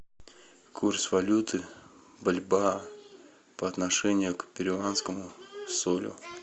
курс валюты бальбоа по отношению к перуанскому солю